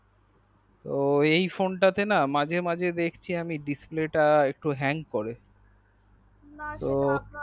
এই phone তা না মাঝে মাঝে দেখছি ডিসপ্লে তা একটু হ্যাং করে না সেটা আপনার